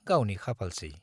गावनि खाफालसै।